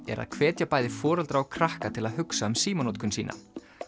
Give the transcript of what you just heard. er að hvetja bæði foreldra og krakka til að hugsa um símanotkun sína